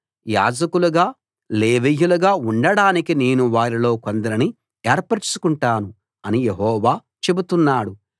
యాజకులుగా లేవీయులుగా ఉండడానికి నేను వారిలో కొందరిని ఏర్పరచుకుంటాను అని యెహోవా చెబుతున్నాడు